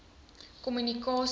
kommunikasie